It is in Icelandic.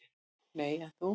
"""Nei, en þú?"""